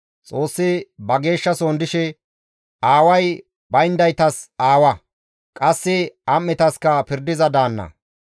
Xoossi ba geeshshasohon dishe aaway bayndaytas aawa; qasse am7etaska pirdiza daanna.